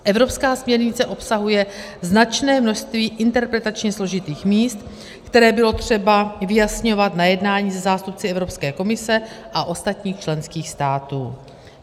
Evropská směrnice obsahuje značné množství interpretačně složitých míst, která bylo třeba vyjasňovat na jednání se zástupci Evropské komise a ostatních členských států.